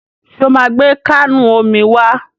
Ṣo máa gbé káànù omi wá?